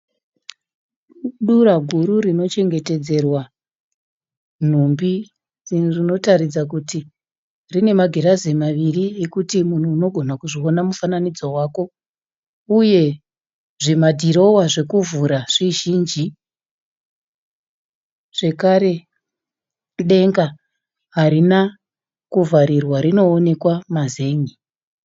Dura guru rino chengetedzerwa nhumbi iro rinotaridza kuti rine magirazi maviri ekuti munhu unogona kuzviona mufananidzo wako, uye zvimadhirowa zvekuvhura zvizhinji. Zvekare denga harina kuvharirwa rinoonekwa mazen'e.